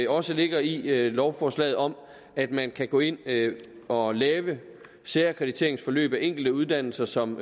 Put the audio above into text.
også ligger i lovforslaget om at man kan gå ind og lave særakkrediteringsforløb af enkelte uddannelser som